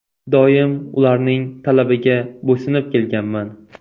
Doim ularning talabiga bo‘ysunib kelganman.